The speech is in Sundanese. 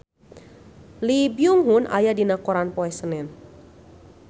Lee Byung Hun aya dina koran poe Senen